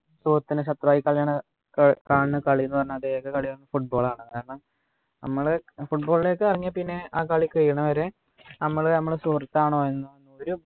സുഹൃത്തിനെ ശത്രു ആയി കളയണ്‌ ക കാണുന്ന ഏക കളി ന്നു പറഞ്ഞാല് കളി football ആണ് കാരണം നമ്മള് football ഒക്കെ ഇറങ്ങിയേ പിന്നെ ആ കാളി കഴിയണ വരെ നമ്മള് നമ്മൾ സുഹൃത്താണോ എന്നോ രു